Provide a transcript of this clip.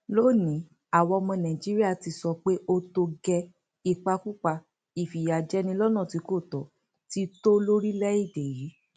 lónìín àwa ọmọ nàìjíríà ti sọ pé ó tó gẹẹ ìpakúpa ìfìyàjẹni lọnà tí kò tó ti tọ lórílẹèdè yìí